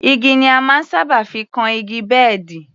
Igi ni a máa ń sábà fi kan igi bẹ́ẹ̀dì